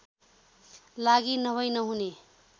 लागि नभै नहुने